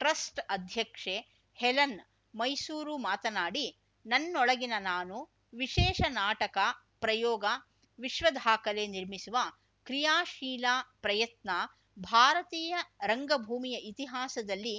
trust ಅಧ್ಯಕ್ಷೆ Helen Mysuru ಮಾತನಾಡಿ ನನ್ನೊಳಗಿನ ನಾನು ವಿಶೇಷ ನಾಟಕ ಪ್ರಯೋಗ ವಿಶ್ವದಾಖಲೆ ನಿರ್ಮಿಸುವ ಕ್ರಿಯಾಶೀಲಾ ಪ್ರಯತ್ನ ಭಾರತೀಯ ರಂಗಭೂಮಿಯ ಇತಿಹಾಸದಲ್ಲಿ